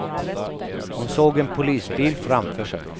Hon såg en polisbil framför sig.